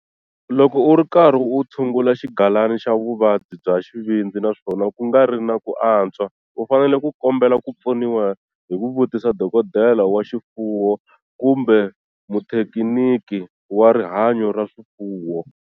Loko u ri karhi u tshungula xigalana xa vuvabyi bya xivindzi naswona ku nga ri na ku antswa, u fanele ku kombela ku pfuniwa hi ku vutisa dokodela wa swifuwo kumbe muthekiniki wa rihanyo ra swifuwo.